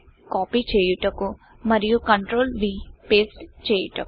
copy చేయుటకు మరియు CTRL V control V paste చేయుటకు